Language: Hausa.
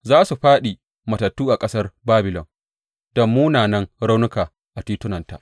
Za su fāɗi matattu a ƙasar Babilon, da munanan raunuka a titunanta.